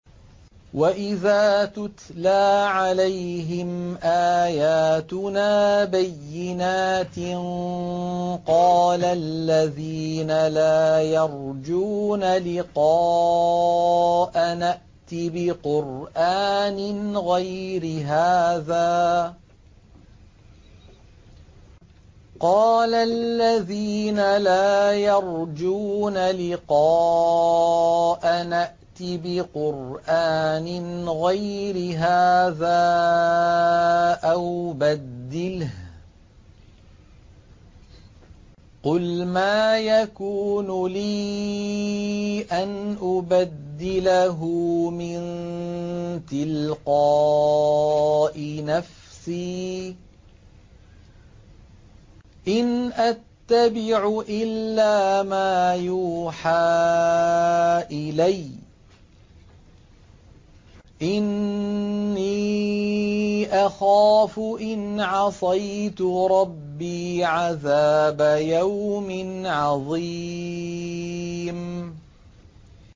وَإِذَا تُتْلَىٰ عَلَيْهِمْ آيَاتُنَا بَيِّنَاتٍ ۙ قَالَ الَّذِينَ لَا يَرْجُونَ لِقَاءَنَا ائْتِ بِقُرْآنٍ غَيْرِ هَٰذَا أَوْ بَدِّلْهُ ۚ قُلْ مَا يَكُونُ لِي أَنْ أُبَدِّلَهُ مِن تِلْقَاءِ نَفْسِي ۖ إِنْ أَتَّبِعُ إِلَّا مَا يُوحَىٰ إِلَيَّ ۖ إِنِّي أَخَافُ إِنْ عَصَيْتُ رَبِّي عَذَابَ يَوْمٍ عَظِيمٍ